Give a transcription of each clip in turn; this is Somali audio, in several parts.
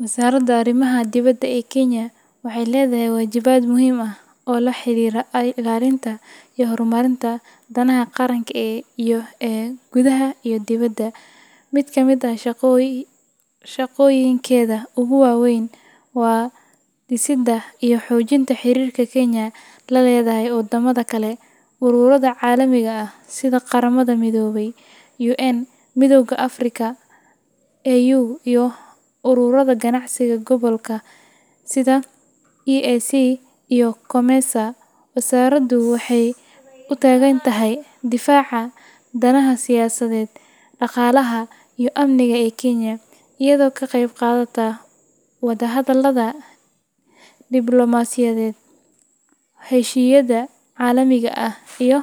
Wasaaradda Arrimaha Dibadda ee Kenya waxay leedahay waajibaad muhiim ah oo la xiriira ilaalinta iyo horumarinta danaha qaranka ee gudaha iyo dibadda. Mid ka mid ah shaqooyinkeeda ugu waaweyn waa dhisidda iyo xoojinta xiriirka Kenya la leedahay wadamada kale, ururada caalamiga ah sida Qaramada Midoobay UN, Midowga Afrika AU, iyo ururada ganacsiga gobolka sida EAC iyo COMESA. Wasaaraddu waxay u taagan tahay difaaca danaha siyaasadeed, dhaqaalaha, iyo amniga ee Kenya, iyadoo ka qaybqaadata wadahadallada diblomaasiyadeed, heshiisyada caalamiga ah, iyo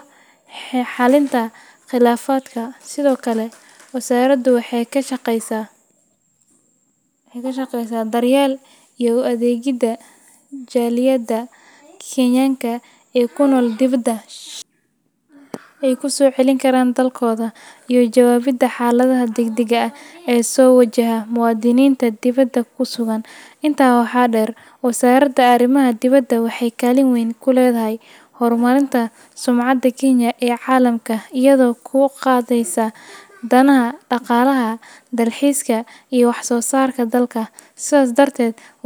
xalinta khilaafaadka. Sidoo kale, wasaaraddu waxay ka shaqeysaa daryeelka iyo u adeegidda jaaliyadaha Kenyaanka ee ku nool dibadda, iyada oo bixisa adeegyo muhiim ah sida ilaalinta xuquuqdooda, fududeynta maalgashiga ay ku soo celin karaan dalkooda, iyo ka jawaabidda xaaladaha degdegga ah ee soo wajaha muwaadiniinta dibadda ku sugan. Intaa waxaa dheer, Wasaaradda Arrimaha Dibadda waxay kaalin weyn ku leedahay horumarinta sumcadda Kenya ee caalamka, iyadoo kor u qaadaysa danaha dhaqaalaha, dalxiiska, iyo wax-soo-saarka dalka. Sidaas darteed.